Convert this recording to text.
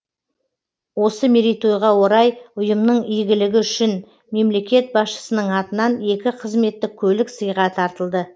осы мерейтойға орай ұйымның игілігі үшін мемлекет басшысының атынан екі қызметтік көлік сыйға тартылды